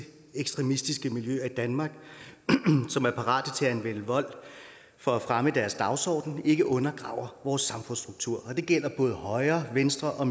ekstremistiske miljøer i danmark som er parat til at anvende vold for at fremme deres dagsorden ikke undergraver vores samfundsstruktur og det gælder både højre venstre og